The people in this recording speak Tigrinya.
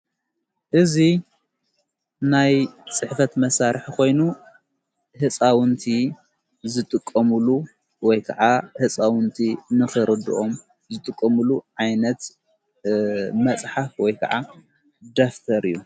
እዙ ናይ ጽሕፈት መሣርሕ ኾይኑ ሕፃውንቲ ዘጥቆሙሉ ወይ ከዓ ሕፃውንቲ ንኽርድኦም ዘጥቆምሉ ዓይነት መጽሓፍ ወይ ከዓ ደፍተር እዩ።